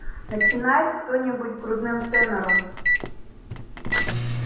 начинает кто-нибудь грудным тенором